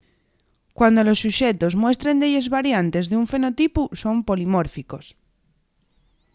cuando los suxetos muestren delles variantes d'un fenotipu son polimórficos